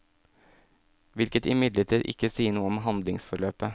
Hvilket imidlertid ikke sier noe om handlingsforløpet.